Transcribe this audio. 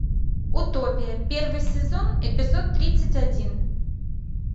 утопия первый сезон эпизод тридцать один